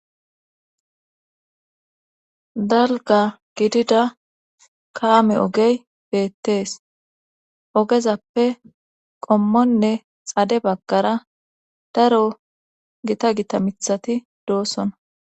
dalga gidida kaame ogey beettees ogezappe qommonne xade baggara daro gita gita mithati doossona